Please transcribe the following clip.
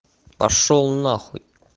пошёл нахуй